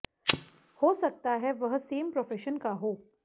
हो सकता है वह सेम प्रोफेशन का हो